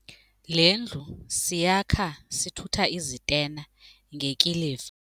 Le ndlu siyakhe sithutha izitena ngekiliva.